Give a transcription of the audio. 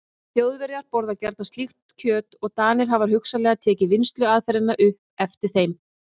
Þjóðverjar borða gjarnan slíkt kjöt og Danir hafa hugsanlega tekið vinnsluaðferðina upp eftir þeim.